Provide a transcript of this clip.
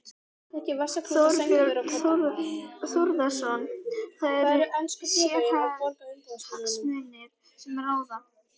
Þorbjörn Þórðarson: Það eru sérhagsmunir sem ráða?